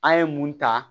An ye mun ta